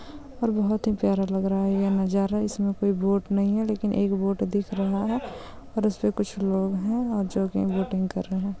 और वहत हि पयारा लग राहा है एह नजारा। इसमे कोइ वोट नेहीं है लेकिन एक वोद दिख राहा है। और उसपे कूछ लैक है यो कि वोटिं कर रहि है।